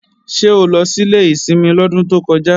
Ṣé o lọ sílé ìsinmi lọ́dún tó kọjá?